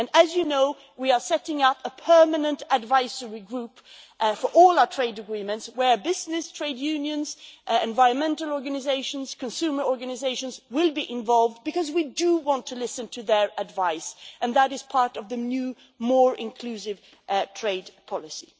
And, as you know, we are setting up a permanent advisory group for all our trade agreements where businesses, trade unions, environmental organisations and consumer organisations will be involved, because we do want to listen to their advice, and that is part of the new, more inclusive trade policy.